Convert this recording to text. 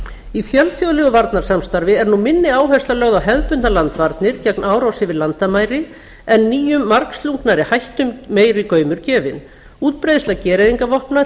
í fjölþjóðlegu varnarsamstarfi er nú minni áhersla lögð á hefðbundnar landvarnir gegn árás yfir landamæri en nýjum margslungnari hættum meiri gaumur gefinn útbreiðsla gereyðingarvopna